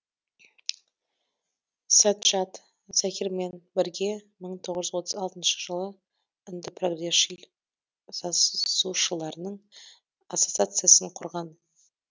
саджад заһирмен бірге мың тоғыз жүз отыз алтыншы жылы үнді прогресшіл жазушыларының ассоциациясын құрған